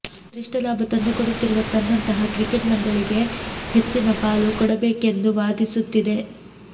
ಗರಿಷ್ಠ ಲಾಭ ತಂದುಕೊಡುತ್ತಿರುವ ತನ್ನಂತಹ ಕ್ರಿಕೆಟ್ ಮಂಡಳಿಗೆ ಹೆಚ್ಚಿನ ಪಾಲು ಕೊಡಬೇಕೆಂದು ವಾದಿಸುತ್ತಿದೆ